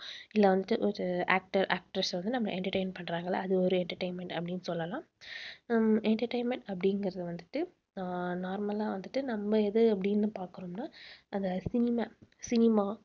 இல்ல வந்துட்டு ஒரு actor actress அ வந்து நம்ம entertain பண்றாங்க இல்ல அது ஒரு entertainment அப்படின்னு சொல்லலாம் உம் entertainment அப்படிங்கறது வந்துட்டு அஹ் normal லா வந்துட்டு நம்ம எது அப்படின்னு பார்க்கறோம்னா அந்த cinema, cinema